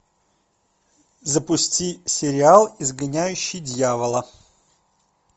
запусти сериал изгоняющий дьявола